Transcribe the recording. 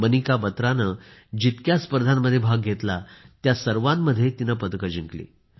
मनिका बत्राने जितक्या स्पर्धांमध्ये भाग घेतला त्या सर्वांमध्ये पदक जिंकली